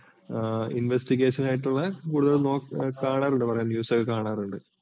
investigation ആയിട്ടുള്ള കൂടുതൽ കാണാറുണ്ട് കുറെ news കൾ കാണാറുണ്ട്.